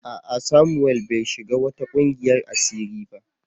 A'a Samuel bai shiga wata kungiyar asiri ba